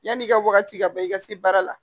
Yan'i ka wagati ka bɔ i ka se baara la